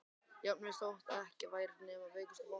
Jafnvel þótt ekki væri nema veikustu vonina.